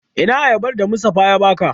Ina ayabar da Mustapha ya baka?